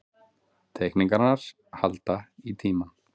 Teikningarnar hans halda í tímann.